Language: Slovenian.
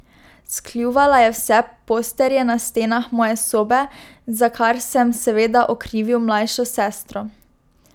Skljuvala je vse posterje na stenah moje sobe, za kar sem, seveda, okrivil mlajšo sestro.